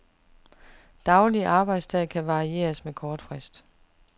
Daglig arbejdsdag kan varieres med kort frist.